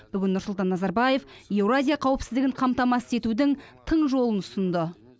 бүгін нұрсұлтан назарбаев еуразия қауіпсіздігін қамтамасыз етудің тың жолын ұсынды